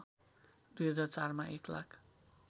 २००४ मा एक लाख